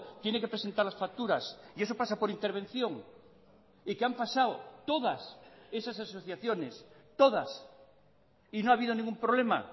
tiene que presentar las facturas y eso pasa por intervención y que han pasado todas esas asociaciones todas y no ha habido ningún problema